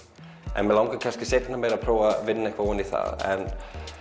en mig langar kannski seinna meir að prófa að vinna eitthvað ofan í það en